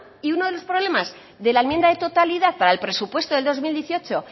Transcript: si uno de los problemas de la enmienda de totalidad para el presupuesto de dos mil dieciocho